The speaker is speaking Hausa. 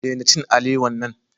Daina cin alewa nan.